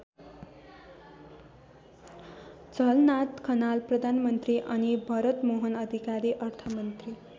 झलनाथ खनाल प्रधानमन्त्री अनि भरतमोहन अधिकारी अर्थमन्त्री।